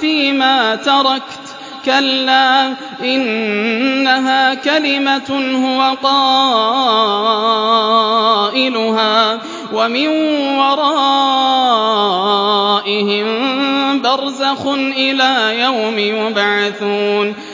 فِيمَا تَرَكْتُ ۚ كَلَّا ۚ إِنَّهَا كَلِمَةٌ هُوَ قَائِلُهَا ۖ وَمِن وَرَائِهِم بَرْزَخٌ إِلَىٰ يَوْمِ يُبْعَثُونَ